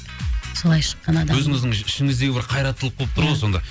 солай шыққан адаммын өзіңіздің ішігіңіздегі бір қайраттылық болып тұр ғой сонда